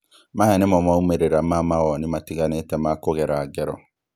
Maya nĩmo maũmĩrĩra ma mawoni matiganĩte makũgera ngero